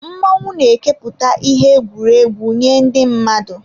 Mmọnwụ na eke pụta ìhè egwuregwu nye ndị mmadụ.